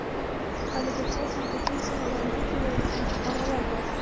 haligacha kompensatsiya ololmay kelayotgan fuqarolar bor.